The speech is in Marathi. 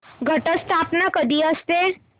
घट स्थापना कधी असते